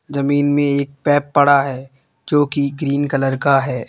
जमीन में एक पैप पड़ा है जो कि ग्रीन कलर का है।